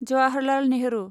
Jawaharlal Nehru